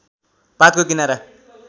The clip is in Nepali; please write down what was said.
पातको किनारा